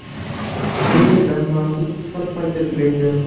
Bu yerda mavsum ikki xil paytda tugaydi.